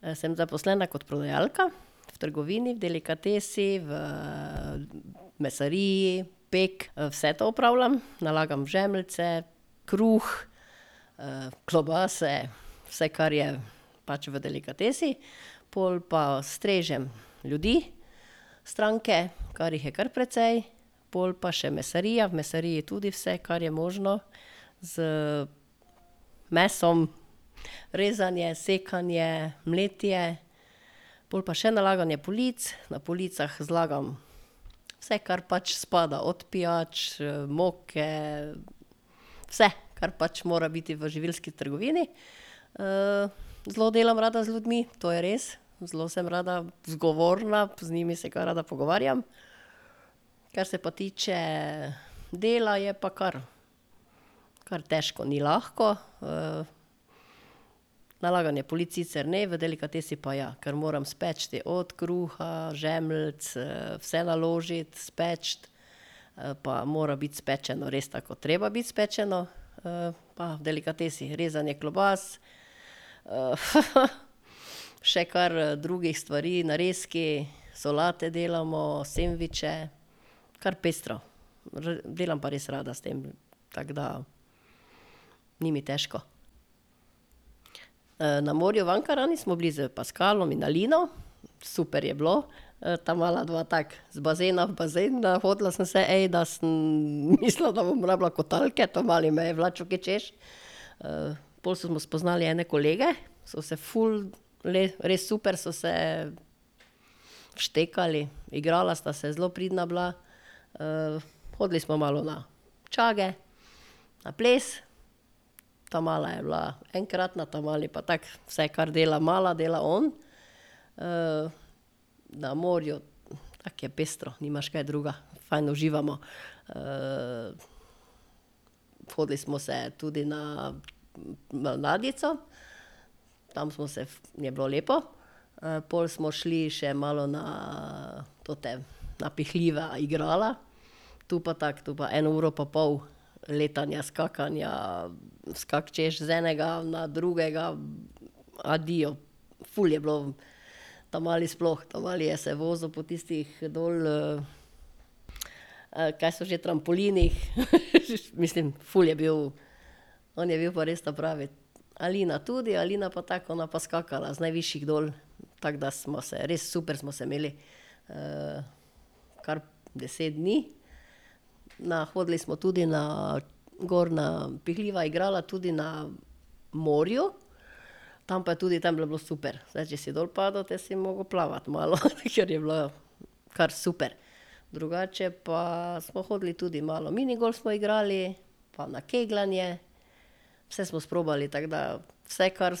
Sem zaposlena kot prodajalka v trgovini, delikatesi, v mesariji, pek, vse to opravljam. Nalagam žemljice, kruh, klobase, vse, kar je pač v delikatesi. Pol pa strežem ljudi, stranke, kar jih je kar precej. Pol pa še mesarija, v mesariji tudi vse, kar je možno, z mesom, rezanje, sekanje, mletje. Pol pa še nalaganje polic. Na policah zlagam vse, kar pač spada. Od pijač, moke, vse, kar pač mora biti v živilski trgovini. zelo delam rada z ljudmi, to je res. Zelo sem rada zgovorna, z njimi se kaj rada pogovarjam. Kar se pa tiče dela, je pa kar, kar težko, ni lahko. nalaganje polic sicer ne, v delikatesi pa ja, ker moram speči od kruha, žemljic, vse naložiti, speči. pa mora biti spečeno res tako, ko treba biti spečeno. pa v delikatesi rezanje klobas, še kar drugih stvari, narezki, solate delamo, sendviče. Kar pestro. delam pa res rada s tem. Tako da ni mi težko. na morju v Ankaranu smo bili s Paskalom in Alino. Super je bilo. ta mala dva tako, z bazena v bazen. Nahodila sem se, da sem mislila, da bom rabila kotalke, ta mali me je vlačil, ke hočeš. pol smo spoznali ene kolege, so se ful res super so se štekali. Igrala sta se, zelo pridna bila. hodili smo malo na čage, na ples. Ta mala je bila enkratna, ta mali pa tako, vse, kar dela mala, dela on. na morju tako je pestro, nimaš kaj drugega. Fajn uživamo. hodili smo se tudi na ladjico, tam smo se, je bilo lepo. pol smo šli še malo na, tota napihljiva igrala, tu pa tako, to pa eno uro pa pol letanja, skakanja, kak hočeš, z enega na drugega. Adijo. Ful je bilo, ta mali sploh, ta mali je se vozil po tistih dol, kaj so že, trampolinih. Mislim, ful je bil, on je bil pa res ta pravi. Alina tudi, Alina pa tako, ona pa skakala z najvišjih dol. Tako da smo se res, super smo se imeli. kar deset dni. Na, hodili smo tudi na gor na napihljiva igrala tudi na morju. Tam pa je tudi, tam pa je bilo super. Saj če si dol padel, te si mogel plavati malo, ker je bilo kar super. Drugače pa smo hodili tudi malo, minigolf smo igrali, pa na kegljanje. Vse smo sprobali, tako da vse, kar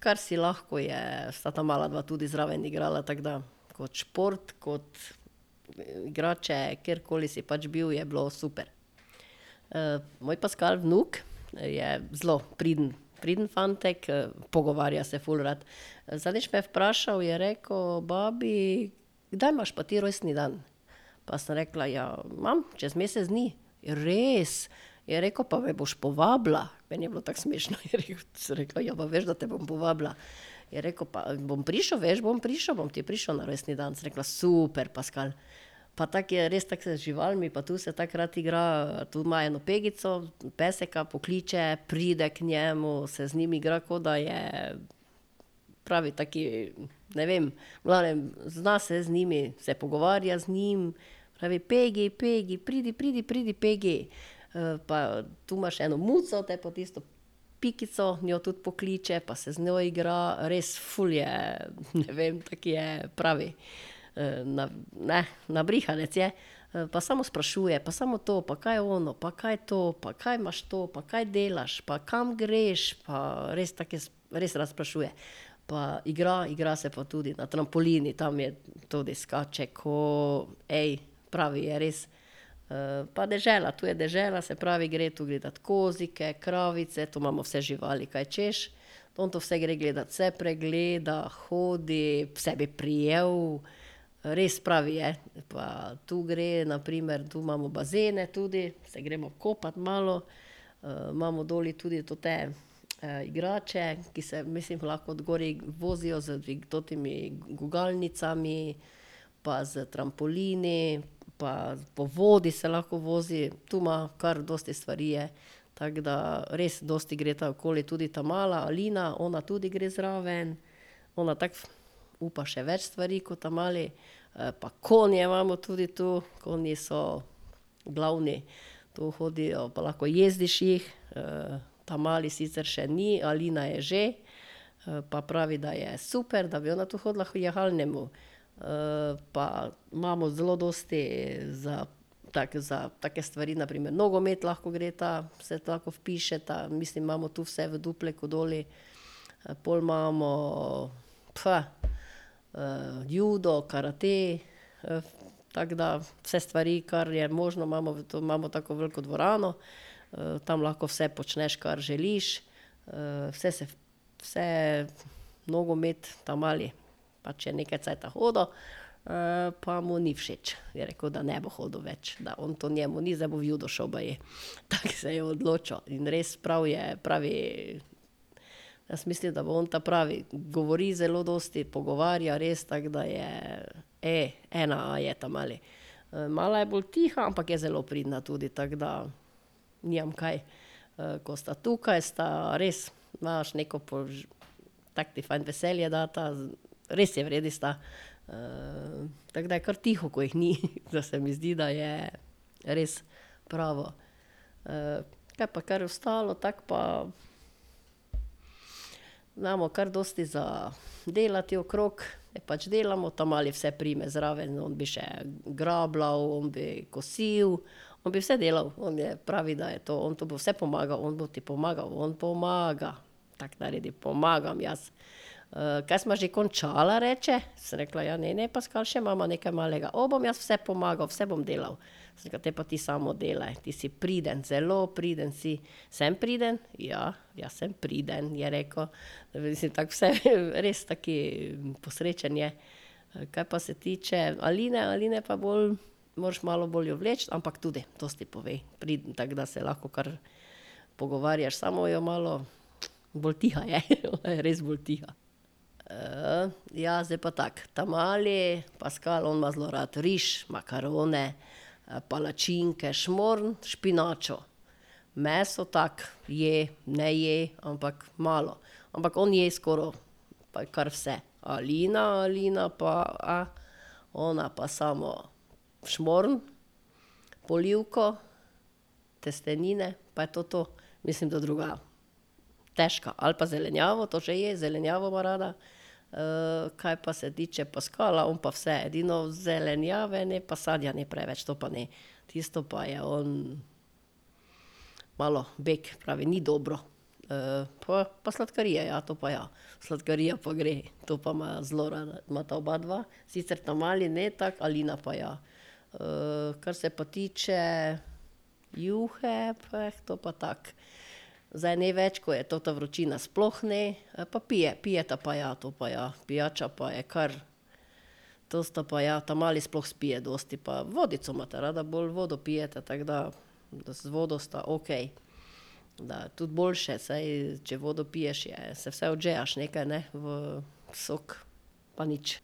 kar si lahko je, sta ta mala dva tudi zraven igrala, tako da kot šport, kot, igrače, kjerkoli si pač bil, je bilo super. moj Paskal, vnuk, je zelo priden, priden fantek, pogovarja se ful rad. Zadnjič me je vprašal, je rekel: "Babi, kdaj imaš pa ti rojstni dan?" Pa sem rekla: "Ja, imam, čez mesec dni." "Res?" Je rekel: "Pa me boš povabila?" Meni je bilo tako smešno, je sem rekla: "Ja, pa veš, da te bom povabila." Je rekel: "Pa, bom prišel, veš, bom prišel, bom ti prišel na rojstni dan." Sem rekla: "Super, Paskal." Pa tako je res, tako se z živalmi pa tu se tako rad igra. Tu ima eno Pegico, peska, pokliče, pride k njemu, se z njim igra, kot da je, pravi tak, ne vem, v glavnem, zna se z njimi. Se pogovarja z njim, pravi: "Pegi, Pegi, pridi, pridi, pridi, Pegi." pa tu ima še eno muco, te pa tisto Pikico, njo tudi pokliče pa se z njo igra. Res ful je, ne vem, taki je, pravi, nabrihanec je. pa samo sprašuje, pa samo to, pa kaj je ono, pa kaj je to, pa kaj imaš to, pa kaj delaš, pa kam greš, pa ... Res tak res, rad sprašuje. Pa igra, igra se pa tudi. Na trampolinu, tam je tudi, skače ko, pravi je, res. pa dežela, tu je dežela, se pravi gre tu gledat kozike, kravice, tu imamo vse živali, kaj hočeš. On to vse gre gledat. Vse pregleda, hodi, vse bi prijel, res, pravi je. Pa tu gre, na primer, tu imamo bazene tudi, se gremo kopat malo. imamo doli tudi tote, igrače, ki se, mislim, ko lahko od gori vozijo z totimi gugalnicami pa s trampolini pa po vodi se lahko vozi. Tu ima, kar dosti stvari je. Tako da res, dosti gresta okoli. Tudi ta mala, Alina, ona tudi gre zraven. Ona tako upa še več stvari ko ta mali. pa konje imamo tudi tu, konji so glavni. Tu hodijo. Pa lahko jezdiš jih, ta mali sicer še ni, Alina je že, pa pravi, da je super, da bi ona tu hodila k jahalnemu. pa imamo zelo dosti za, tako za take stvari, na primer nogomet lahko gresta, se lahko vpišeta, mislim, imamo tu vse v Dupleku dol. Pol imamo, judo, karate, tako da, vse stvari, kar je možno, imamo v to, imamo tako veliko dvorano, tam lahko vse počneš, kar želiš, vse se, vse. Nogomet ta mali pač je nekaj cajta hodil, pa mu ni všeč, je rekel, da ne bo hodil več, da on to njemu ni, da zdaj bo v judo šel baje. Tako se je odločil. In res prav je, pravi, jaz mislim, da bo on ta pravi. Govori zelo dosti, pogovarja, res, tako da je, ena a je ta mali. mala je bolj tiha, ampak je zelo pridna tudi, tako da nimam kaj. ko sta tukaj, sta res, imaš neko tako ti fajn veselje dasta. Res v redu sta. tako da je kar tiho, ko jih ni. Da se mi zdi, da je res pravo. Kaj pa kar ostalo tako pa imamo kar dosti za delati okrog, pač delamo. Ta mali vse prime zraven, on bi še grabljal, on bi kosil. On bi vse delal, on je, pravi, da je to, on to bo vse pomagal, on bo ti pomagal, on pomaga. Tako naredi: "Pomagam jaz." kaj sva že končala?" reče. Sem rekla: "Ja, ne, ne, Paskal, še imava nekaj malega." "O, bom jaz vse pomagal, vse bom delal." Sem rekla: "Te pa ti samo delaj, ti si priden, zelo priden si." "Sem priden? Ja, jaz sem priden," je rekel. Mislim tako vse, res tak posrečen je. Kaj pa se tiče Aline, Alina je pa bolj, moraš malo bolj jo vleči, ampak tudi dosti pove. Priden, tako da se lahko kar pogovarjaš. Samo jo malo, bolj tiha je, ona je res bolj tiha. ja, zdaj pa tako. Ta mali, Paskal, on ima zelo rad riž, makarone, palačinke, šmorn, špinačo. Meso tako je, ne je, ampak malo. Ampak on je skoraj pa kar vse. Alina, Alina, pa, ona pa samo šmorn, polivko, testenine, pa je to to. Mislim, da druga težka. Ali pa zelenjavo, to še je, zelenjavo ima rada, kaj pa se tiče Paskala, on pa vse. Edino zelenjave ne, pa sadja ne preveč, to pa ne. Tisto pa je on malo bek. Pravi: "Ni dobro." pa, pa sladkarije, ja. To pa ja. Sladkarija pa gre. To pa ima zelo rada, imata obadva, sicer ta mali ne tako, Alina pa ja. kar se pa tiče juhe, to pa tako, zdaj ne več, ko je ta vročina sploh ne. Pa pije, pijeta pa ja, to pa ja. Pijača pa je kar, to sta pa ja, ta mali sploh spije dosti. Pa vodico imata rada, bolj vodo pijeta, tako da z vodo sta okej. Da je tudi boljše, saj če vodo piješ, je, se vsaj odžejaš nekaj, ne. V sok pa nič.